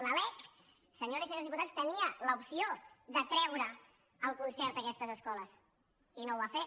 la lec senyores i senyors diputats tenia l’opció de treure el concert a aquestes escoles i no ho va fer